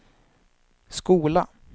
skola